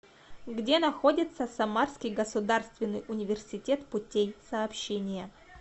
где находится самарский государственный университет путей сообщения